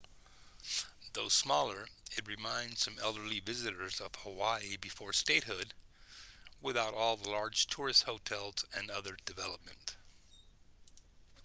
though smaller it reminds some elderly visitors of hawaii before statehood without all the large tourist hotels and other development